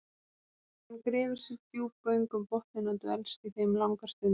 hann grefur sér djúp göng um botninn og dvelst í þeim langar stundir